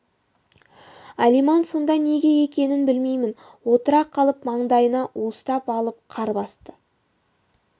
алиман сонда неге екенін білмеймін отыра қалып маңдайына уыстап алып қар басты